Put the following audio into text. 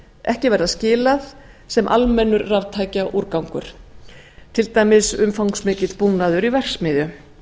ekki vera skilað sem almennum raftækjaúrgangi til dæmis umfangsmikill búnaður í verksmiðjum